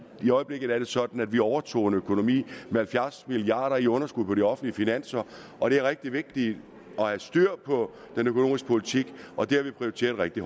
i øjeblikket er det sådan at vi overtog en økonomi med halvfjerds milliard kroner i underskud på de offentlige finanser og det er rigtig vigtigt at have styr på den økonomiske politik og det har vi prioriteret rigtig